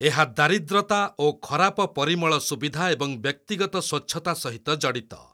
ଏହା ଦାରିଦ୍ରତା ଓ ଖରାପ ପରିମଳ ସୁବିଧା ଏବଂ ବ୍ୟକ୍ତିଗତ ସ୍ୱଚ୍ଛତା ସହିତ ଜଡ଼ିତ।